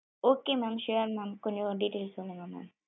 Okay ma'am sure ma'am கொஞ்சம் detaills சொல்லுங்க ma'am.